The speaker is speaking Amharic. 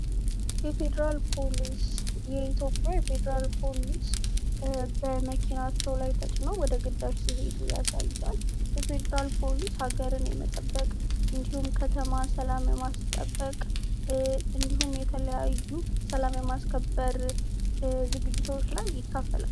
የፌደራል ፖሊስ የአትዮጵያ የፌደራል ፖሊስ በመኪናቸው ተጭነው ወደ ግዳጅ ሲሄዱ ያሳያል የፌደራል ፖሊስ ሃገርን የመጠበቅ እንዲሁም ከተማ ሰላም የማስጠበቅ እንዲሁም የተለያዩ ሰላም የማስከበር ዝግጅቶች ላይ ይካፈላል